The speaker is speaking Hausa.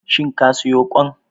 Shin ka soya kwan?